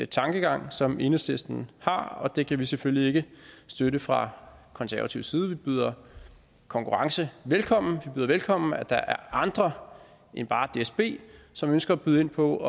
tankegang som enhedslisten har og den kan vi selvfølgelig ikke støtte fra konservatives side vi byder konkurrence velkommen vi byder velkommen at der er andre end bare dsb som ønsker at byde ind på